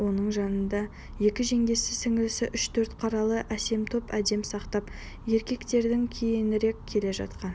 оның жанында екі жеңгесі сіңлісі үш-төрт қаралы әсем топ әдеп сақтап еркектерден кейінірек келе жатқан